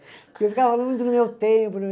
Porque eu ficava falando no meu tempo.